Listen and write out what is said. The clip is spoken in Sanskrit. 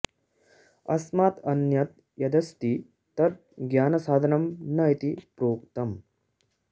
अस्मात् अन्यत् यदस्ति तद् ज्ञानसाधनं न इति प्रोक्तम्